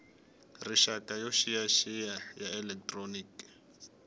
rixaka yo xiyaxiya ya elekitroniki